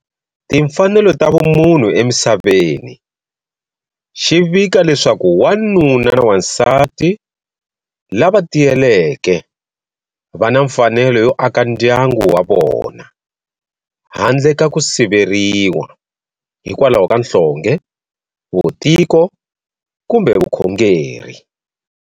Timfanelo ta vumunhu emisaveni, xi vika leswaku"Wanuna na n'wansati lava tiyeleke, vana mfanelo yo aka ndyangu wa vona, handle ka ku siveriwa hikwalaho ka nhlonge, vutiko kumbe vukhongeri.